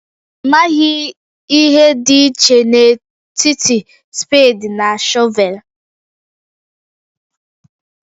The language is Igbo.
Ị maghị ihe dị iche n'etiti spade na shọvel?